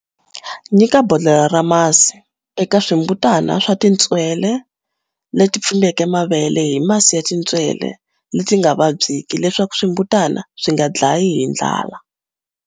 Nyika bodlhela ra masi eka swimbutana swa tintswele leti pfimbeke mavele hi masi ya tintswele leti nga vadyiki leswaku swimbutana swi nga hlayi hi ndlala.